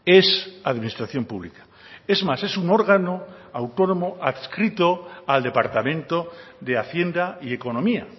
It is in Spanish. es administración pública es más es un órgano autónomo adscrito al departamento de hacienda y economía